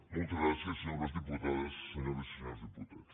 moltes gràcies senyores diputades senyores i senyors diputats